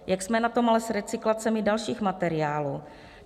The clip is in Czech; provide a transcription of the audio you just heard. Jak jsme na tom ale s recyklacemi dalších materiálů?